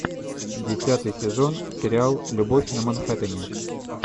десятый сезон сериал любовь на манхэттене